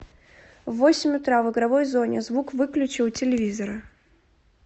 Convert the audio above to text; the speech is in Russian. в восемь утра в игровой зоне звук выключи у телевизора